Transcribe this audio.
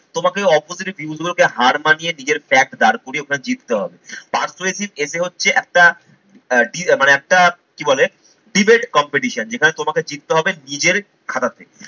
তোমাকে opposite views গুলোকে হার মানিয়ে নিজের fact দাঁড় করিয়ে ওটা জিততে হবে। persuasive essay হচ্ছে একটা মানে একটা কি বলে debate competition যেখানে তোমাকে জিততে হবে নিজের খাতা থেকে।